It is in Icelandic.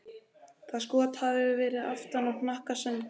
Það skot hafi farið aftan á hnakka Sandri.